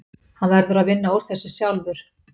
Hann verður að vinna úr þessu sjálfur.